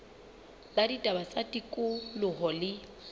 la ditaba tsa tikoloho le